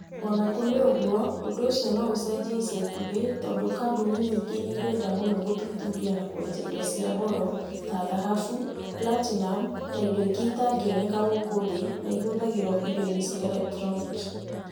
O na kũrĩ ũguo, ũndũ ũcio no ũcenjie ica ikuhĩ tondũ kambuni nyingĩ nĩ irenda mũno gũthuthuria na kweja indo cia goro, ta thahabu, platinum, na indo ingĩ itangĩoneka gũkũ thĩ na ihũthagĩrũo indo-inĩ cia erektroniki.